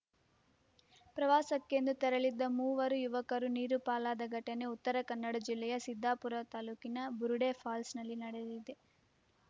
ಪ್ರವಾಸಕ್ಕೆಂದು ತೆರಳಿದ್ದ ಮೂವರುಯುವಕರು ನೀರುಪಾಲಾದಘಟನೆ ಉತ್ತರ ಕನ್ನಡಜಿಲ್ಲೆಯ ಸಿದ್ದಾಪುರ ತಾಲೂಕಿನ ಬುರುಡೆ ಪಾಲ್ಸ್‍ನಲ್ಲಿ ನಡೆದಿದೆ